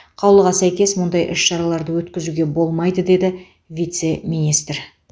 қаулыға сәйкес мұндай іс шараларды өткізуге болмайды деді вице министр